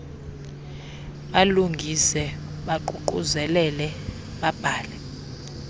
balungise baququzelele babhale